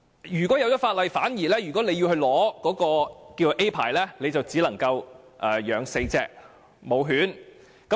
如果法例生效後，取得所謂甲類牌照便只能飼養4隻雌性狗隻。